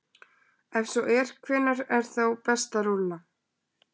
Ef svo er, hvenær er þá best að rúlla?